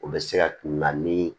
O bɛ se ka kunna ni